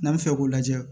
N'an bɛ fɛ k'o lajɛ